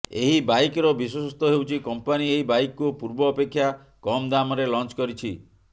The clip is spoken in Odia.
ଏହି ବାଇକର ବିଶେଷତ୍ୱ ହେଉଛି କମ୍ପାନୀ ଏହି ବାଇକକୁ ପୂର୍ବ ଅପେକ୍ଷା କମ୍ ଦାମରେ ଲଞ୍ଚ କରିଛି